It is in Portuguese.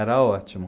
era ótimo.